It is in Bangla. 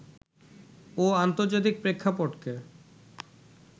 ও আন্তর্জাতিক প্রেক্ষাপটকে